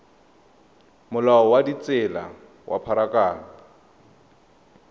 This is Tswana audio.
molao wa ditsela wa pharakano